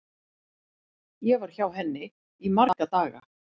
Ég var hjá henni í marga daga.